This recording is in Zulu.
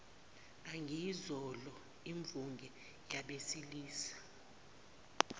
angayizolo imvunge yabesilisa